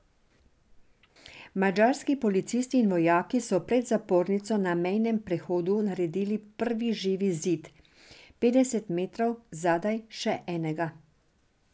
Madžarski policisti in vojaki so pred zapornico na mejnem prehodu naredili prvi živi zid, petdeset metrov zadaj še enega.